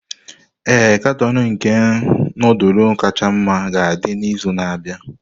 Ee, katọn nke nudulu kacha mma ga-adị n'izu na-abịa.